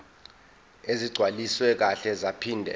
ezigcwaliswe kahle zaphinde